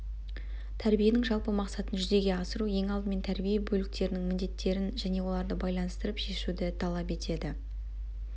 тәрбиенің жалпы мақсатын жүзеге асыру ең алдымен тәрбие бөліктерінің міндеттерін және оларды байланыстырып шешуді талап етеді